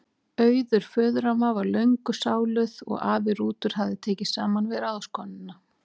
Auður föðuramma var löngu sáluð og afi Rútur hafði tekið saman við ráðskonuna